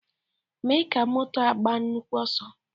Mee ka moto a gbaa nnukwu ọsọ!